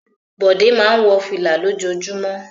Bọ̀dé máa ń wọ fìlà lójoojúmọ́.